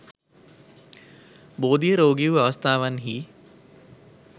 බෝධිය රෝගී වූ අවස්ථාවන්හි